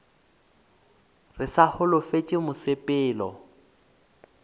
re ke sa holofetše mosepelo